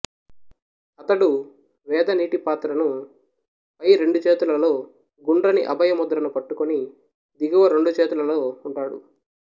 అతడు వేద నీటి పాత్రను పై రెండు చేతులలో గుండ్రని అభయ ముద్రను పట్టుకొని దిగువ రెండు చేతులలో ఉంటాడు